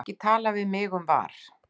Ekki tala við mig um VAR.